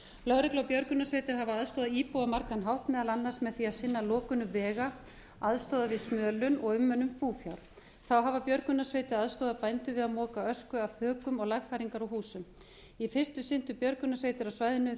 lögreglu og björgunarsveitir hafa aðstoðað íbúa á margan hátt meðal annars með því að sinna lokunum vega aðstoða við smölun og umönnun búfjár þá hafa björgunarsveitir aðstoðað bændur við að moka ösku af þökum og lagfæringar á húsum í fyrstu sinntu björgunarsveitir á svæðinu